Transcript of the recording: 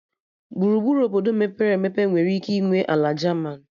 Gburugburu Obodo mepere emepe nwere ike ịnwe ala jaman